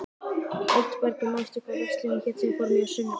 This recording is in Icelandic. Oddbergur, manstu hvað verslunin hét sem við fórum í á sunnudaginn?